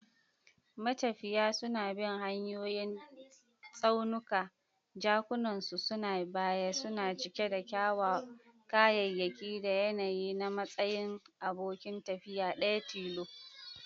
Matafiya suna bin hanyoyin tsaunuka, jakunkunansu na baya suna cike da kayayyaki da yanayi a matsayin abokin tafiya daya tilo.